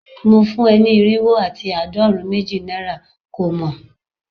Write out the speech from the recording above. Mo fun e ni irinwo ati aadorun meji naira ko mo